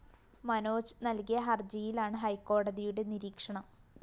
മനോജ് നല്‍കിയ ഹര്‍ജിയിലാണ് ഹൈക്കോടതിയുടെ നിരീക്ഷണം